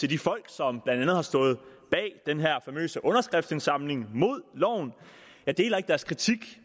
de folk som blandt andet har stået bag den her famøse underskriftsindsamling mod loven jeg deler ikke deres kritik